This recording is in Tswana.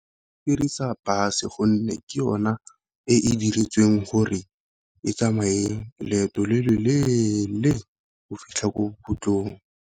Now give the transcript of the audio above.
Ke dirisa bus gonne ke yona e e diretsweng gore e tsamaye leeto le le leele go fitlha ko .